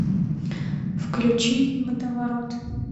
включи водоворот